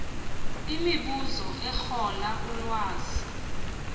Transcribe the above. imibuzo erola ulwazi